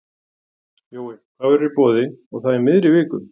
Jói, hvað verður í boði og það í miðri viku?